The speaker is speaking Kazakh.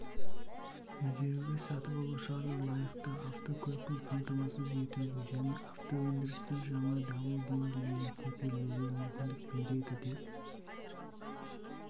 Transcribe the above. игеруге сатып алушыларды лайықты автокөлікпен қамтамасыз етуге және автоөндірістің жаңа дамудеңгейіне көтерілуге мүмкіндік береді деп